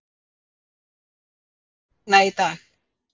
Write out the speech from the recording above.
Gnúpur, mun rigna í dag?